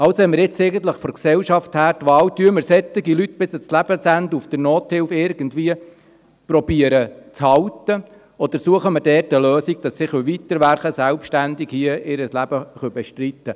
Also haben wir von der Gesellschaft her jetzt eigentlich die Wahl, zu versuchen, solche Leute bis an ihr Lebensende irgendwie in der Nothilfe zu halten, oder dort eine Lösung zu suchen, damit sie weiterarbeiten und ihr Leben hier selbstständig bestreiten können.